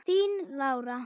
Þín Lára.